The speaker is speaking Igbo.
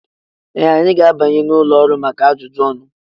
Ee! Anyị ga-abanye n'ụlọ ọrụ maka ajụjụ ọnụ.